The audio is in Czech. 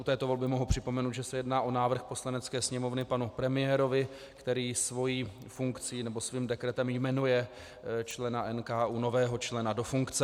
U této volby mohu připomenout, že se jedná o návrh Poslanecké sněmovny panu premiérovi, který svojí funkcí nebo svým dekretem jmenuje člena NKÚ, nového člena do funkce.